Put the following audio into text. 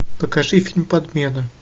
покажи фильм подмена